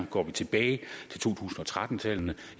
går vi tilbage til to tusind og tretten tallene